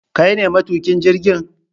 kaine matukin jirgin?